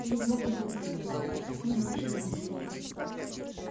я не могу думать и про страсть у меня вообще нет никаких ассоциаций